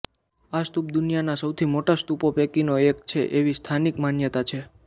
આ સ્તૂપ દુનિયાના સૌથી મોટા સ્તૂપો પૈકીનો એક છે એવી સ્થાનિક માન્યતા છે